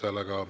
Ei soovi.